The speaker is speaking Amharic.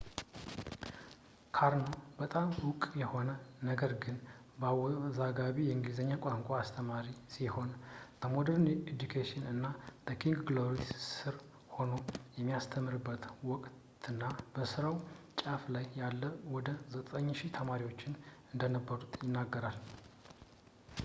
karno በጣም ዕውቅ የሆነ፣ ነገር ግን አወዛጋቢ የእንግሊዘኛ ቋንቋ አስተማሪ ሲሆን፣ በmodern education እና በking glory ስር ሆኖ በሚያስተምርበት ወቅትና በስራው ጫፍ ላይ እያለ ወደ 9000 ተማሪዎች እንደነበሩት ይናገራል